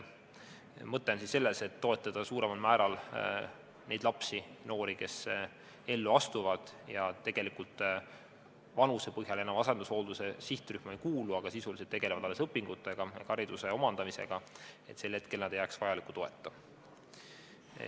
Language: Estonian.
Mõte on selles, et toetada suuremal määral neid lapsi-noori, kes ellu astuvad ja vanuse põhjal enam asendushoolduse sihtrühma ei kuulu, aga sisuliselt tegelevad alles õpingutega ehk hariduse omandamisega, selleks et nad sel hetkel ei jääks vajaliku toeta.